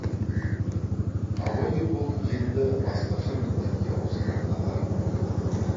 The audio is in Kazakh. абай ерболдың енді басқаша міндетке ауысқанына қарап ойланып қалды